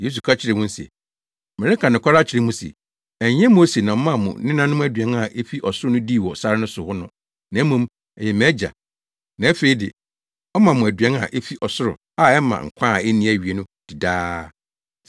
Yesu ka kyerɛɛ wɔn se, “Mereka nokware akyerɛ mo se, ɛnyɛ Mose na ɔmaa mo nenanom aduan a efi ɔsoro no dii wɔ sare so hɔ no na mmom ɛyɛ mʼAgya. Na afei de, ɔma mo aduan a efi ɔsoro a ɛma nkwa a enni awiei no di daa.